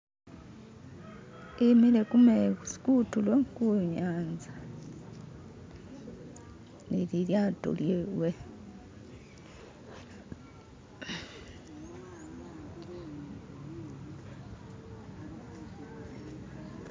E'mile ku'mezi kutulo ku'nyanza nelilyato lyewe.